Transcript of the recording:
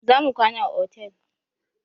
Za mu kwana a otel.